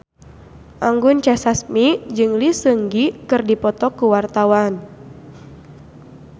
Anggun C. Sasmi jeung Lee Seung Gi keur dipoto ku wartawan